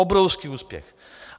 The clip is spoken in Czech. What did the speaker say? Obrovský úspěch.